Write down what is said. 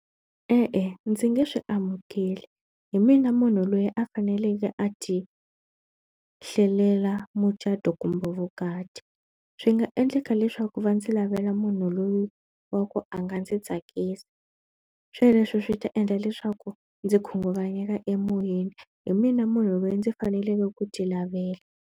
E-e, ndzi nge swi amukeli. Hi mina munhu loyi a faneleke a ti hlelela mucato kumbe vukati. Swi nga endleka leswaku va ndzi lavela munhu loyi wa ku a nga ndzi tsakisa. Sweleswo swi ta endla leswaku ndzi khunguvanyeka emoyeni. Hi mina munhu loyi ndzi faneleke ku ti lavela.